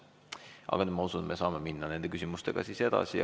Aga ma usun, et me saame minna küsimustega edasi.